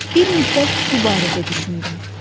Bir müddət bu barədə düşündüm.